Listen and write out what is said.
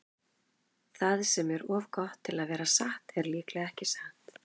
Það sem er of gott til að vera satt er líklega ekki satt.